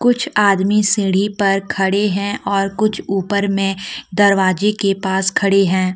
कुछ आदमी सीढ़ी पर खड़े हैं और कुछ ऊपर में दरवाजे के पास खड़े हैं।